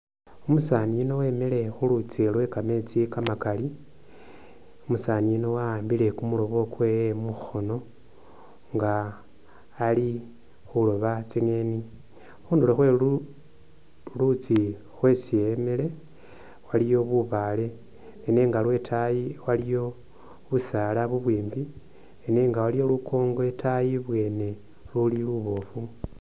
Umusaani yuno wemile khu luutsi lwe kameetsi kamakali , Umusaani yuno wa'ambile kumurobo kwewe mukhoono nga ali khuroba tsinyeeni. Khunduro khwe luluutsi khwesi emile waliyo bubaale nenga lwetayi waliwo busaala ubwimbi nenga waliyo lukoongo itayi ibwene luli luboofu.